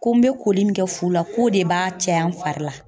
Ko n bɛ koli min kɛ fu la , k'o de b'a caya n fari la.